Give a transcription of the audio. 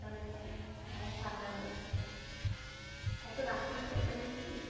আবার ঠান্ডার রাত, এতো রাত করে চেঁচামেচি।